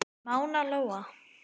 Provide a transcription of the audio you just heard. Mána Lóa.